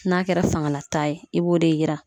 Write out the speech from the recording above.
N'a kɛra fangala taa ye, i b'o de yira.